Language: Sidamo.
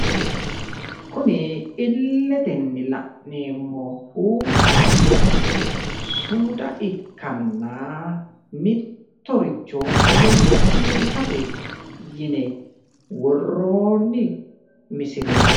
Kuni illetenni la'neemmohu sumuda ikkanna mittoricho egensiisate yine worroonni misileeti.